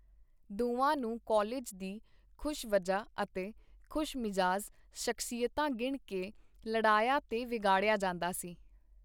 ਦੋਵਾਂ ਨੂੰ ਕਾਲਿਜ ਦੀ ਖੁਸ਼ਵੱਜਾ ਅਤੇ ਖੁਸ਼-ਮਿਜ਼ਾਜ ਸ਼ਖਸੀਅਤ ਗਿਣ ਕੇ ਲਡਿਆਇਆ ਤੇ ਵਿਗਾੜਿਆ ਜਾਂਦਾ ਸੀ.